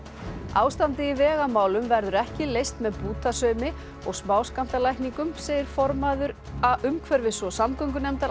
ástandið í vegamálum verður ekki leyst með bútasaumi og smáskammtalækningum segir formaður umhverfis og samgöngunefndar